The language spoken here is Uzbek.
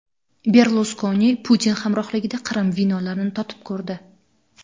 Berluskoni Putin hamrohligida Qrim vinolarini totib ko‘rdi .